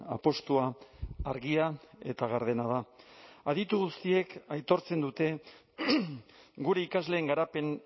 apustua argia eta gardena da aditu guztiek aitortzen dute gure ikasleen garapen